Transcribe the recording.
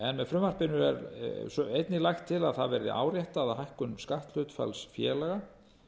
með frumvarpinu er einnig lagt til að það verði áréttað að hækkun skatthlutfalls félaga